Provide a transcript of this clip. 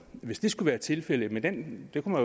hvis det skulle være tilfældet men det kunne